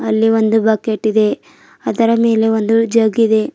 ಅಲ್ಲಿ ಒಂದು ಬಕೆಟ್ ಇದೆ ಅದರ ಮೇಲೆ ಒಂದು ಜಗ್ ಇದೆ.